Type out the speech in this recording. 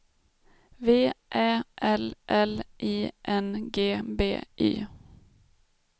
V Ä L L I N G B Y